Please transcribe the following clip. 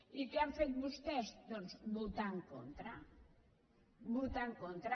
i què han fet vostès doncs votar hi en contra votar hi en contra